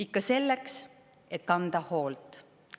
Ikka selleks, et kanda hoolt.